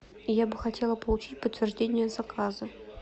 я бы хотела получить подтверждение заказа